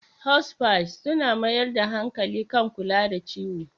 Hospices suna mayar da hankali kan kula da ciwo.